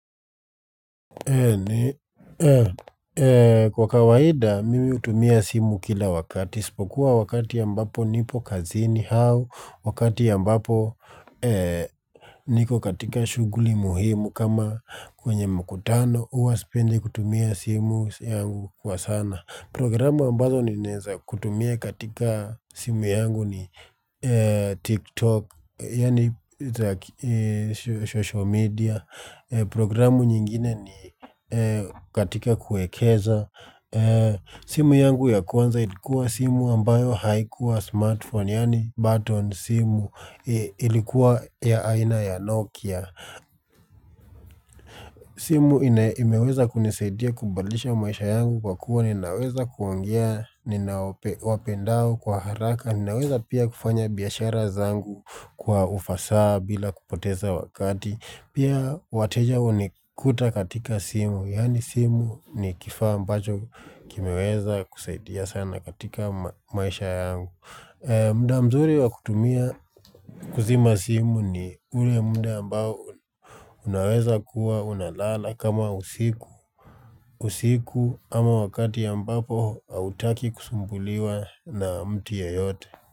Kwa kawaida mimi hutumia simu kila wakati. Isipokuwa wakati ambapo nipo kazini au. Wakati ambapo niko katika shughuli muhimu kama kwenye mkutano. Huwa sipendi kutumia simu yangu kwa sana. Programu ambazo ninaeza kutumia katika simu yangu ni TikTok, yaani social media. Programu nyingine ni katika kuekeza. Simu yangu ya kwanza ilikuwa simu ambayo haikuwa smartphone, yaani button simu ilikuwa ya aina ya Nokia. Simu imeweza kunisaidia kubadilisha maisha yangu kwa kuwa ninaweza kuongea nina wapendao kwa haraka ninaweza pia kufanya biashara zangu kwa ufasaha bila kupoteza wakati pia wateja hunikuta katika simu, yaani simu ni kifaa ambacho kimeweza kusaidia sana katika maisha yangu mda mzuri wa kutumia kuzima simu ni ule mda ambao unaweza kuwa unalala kama usiku. Usiku ama wakati ambapo hautaki kusumbuliwa na mtu yeyote.